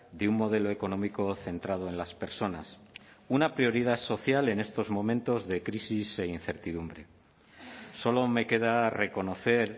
de un modelo económico centrado en las personas una prioridad social en estos momentos de crisis e incertidumbre solo me queda reconocer